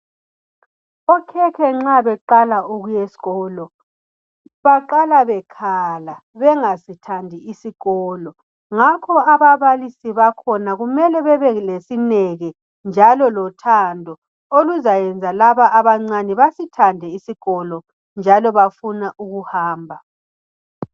okhekhe nxa beqala ukuya esikolo baqala bekhala bengasithandi isikolo ngakho ababalisi bakhona kumele bebelesineke njalo lothando oluzayenza laba abancane basithande isikolo njalo bafuna ukuhamba